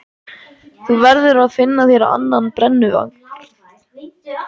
Þú verður að finna þér annan brennuvarg.